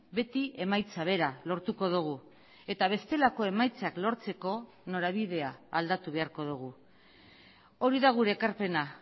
beti emaitza bera lortuko dugu eta bestelako emaitzak lortzeko norabidea aldatu beharko dugu hori da gure ekarpena